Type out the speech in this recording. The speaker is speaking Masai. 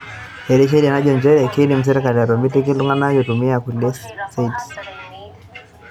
Etii sheria najo nchere, keidim serkali atomitiki iltungana eitumia kulie saits